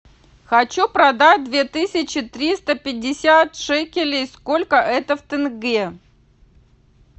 хочу продать две тысячи триста пятьдесят шекелей сколько это в тенге